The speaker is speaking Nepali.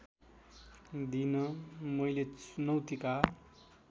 दिन मैले चुनौतीका